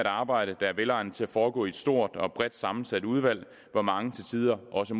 arbejde der er velegnet til at foregå i et stort og bredt sammensat udvalg hvor mange til tider også